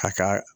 A ka